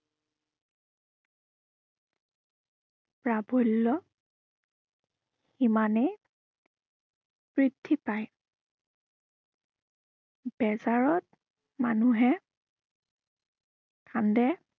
প্ৰাৱল্য় সিমানেই বৃদ্ধি পায়। বেজাৰত, মানুহে কান্দে।